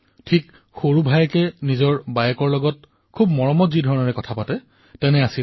এই কথোপকথন এনেকুৱা আছিল যেনে ডাঙৰ বায়েকে নিজৰ সৰু ভায়েকৰ লগত কথা পাতি আছে